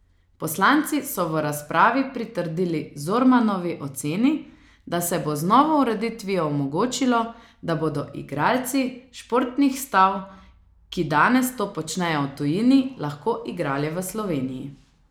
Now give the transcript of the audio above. Poslanci so v razpravi pritrdili Zormanovi oceni, da se bo z novo ureditvijo omogočilo, da bodo igralci športnih stav, ki danes to počnejo v tujini, lahko igrali v Sloveniji.